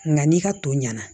Nka n'i ka to ɲɛna